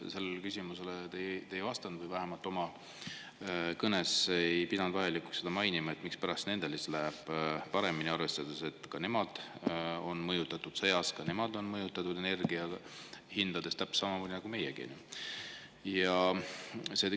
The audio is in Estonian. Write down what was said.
Sellele küsimusele te ei vastanud või vähemalt oma kõnes ei pidanud vajalikuks mainida, mispärast nendel siis läheb paremini, arvestades, et ka nemad on mõjutatud sõjast, ka nemad on mõjutatud energia hindadest täpselt samamoodi nagu meiegi.